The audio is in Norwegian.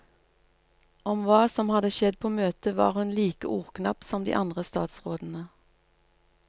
Om hva som hadde skjedd på møtet var hun like ordknapp som de andre statsrådene.